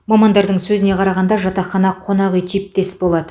мамандардың сөзіне қарағанда жатақхана қонақ үй типтес болады